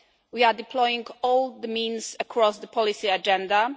We are deploying all means across the policy agenda.